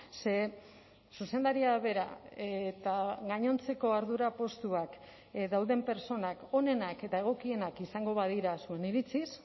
ze zuzendaria bera eta gainontzeko ardura postuak dauden pertsonak onenak eta egokienak izango badira zuen iritziz